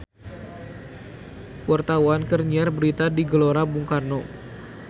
Wartawan keur nyiar berita di Gelora Bung Karno